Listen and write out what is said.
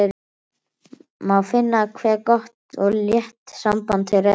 Má finna hve gott og létt samband þeirra er.